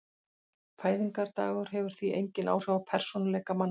Fæðingardagur hefur því engin áhrif á persónuleika manna.